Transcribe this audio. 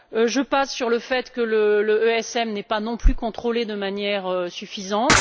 Je passe sur le fait que l'ESM n'est pas non plus contrôlé de manière suffisante.